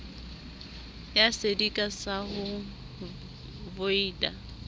ya sedika sa ho voita